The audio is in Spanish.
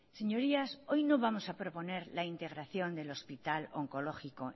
señorías hoy no vamos a proponer la integración del hospital oncológico